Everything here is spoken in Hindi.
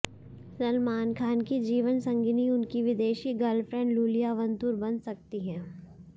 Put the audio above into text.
सलमान की जीवन संगिनी उनकी विदेशी गर्लफ्रेंड लूलिया वंतूर बन सकती हैं